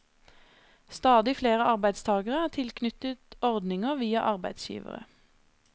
Stadig flere arbeidstagere er tilknyttet ordninger via arbeidsgivere.